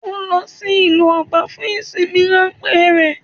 Ó lo sí ìlú Oba fun ìsinmi ránpé rè